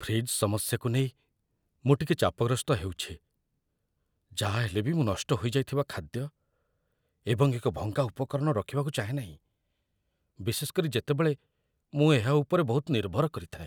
Fridge ସମସ୍ୟାକୁ ନେଇ ମୁଁ ଟିକେ ଚାପଗ୍ରସ୍ତ ହେଉଛି, ଯାହା ହେଲେ ବି ମୁଁ ନଷ୍ଟ ହୋଇଯାଇଥିବା ଖାଦ୍ୟ ଏବଂ ଏକ ଭଙ୍ଗା ଉପକରଣ ରଖିବାକୁ ଚାହେଁନାହିଁ, ବିଶେଷ କରି ଯେତେବେଳେ ମୁଁ ଏହା ଉପରେ ବହୁତ ନିର୍ଭର କରିଥାଏ।